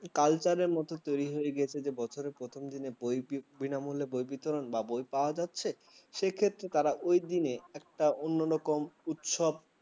culture র মতো তৈরি হয়ে গেছে যে বছরের প্রথম দিনে বই বিনামূল্যে বিতরণ বা বই পাওয়া যাচ্ছে সেক্ষেত্রে তারা ওই দিনে অন্যরকম উৎসব ।